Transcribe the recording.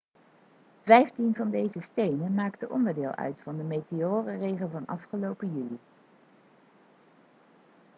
vijftien van deze stenen maakte onderdeel uit van de meteorenregen van afgelopen juli